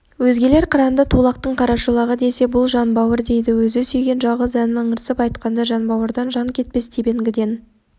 өзгелер қыранды тулақтың қарашолағы десе бұл жанбауыр дейді өзі сүйген жалғыз әнін ыңырсып айтқанда жанбауырдан жан кетпес тебінгіден